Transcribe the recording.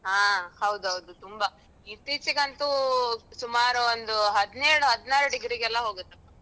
ಹ ಹೌದು ಹೌದು ತುಂಬಾ ಇತ್ತೀಚೆ ಗಂತೂ ಸುಮಾರು ಒಂದು ಹದ್ನೇಳು ಹದ್ನಾರು degree ಗೆಲ್ಲಾ ಹೋಗುತ್ತೆ.